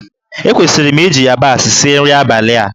Ekwesịrị m iji yabasị sie nri abalị a?